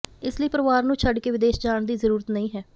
ਇਸ ਲਈ ਪਰਿਵਾਰ ਨੂੰ ਛੱਡ ਕੇ ਵਿਦੇਸ਼ ਜਾਣ ਦੀ ਜ਼ਰੂਰਤ ਨਹੀਂ ਹੈ